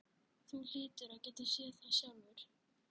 Þú hlýtur að geta séð það sjálfur.